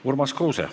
Urmas Kruuse.